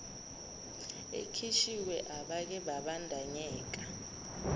ekhishiwe abake babandanyeka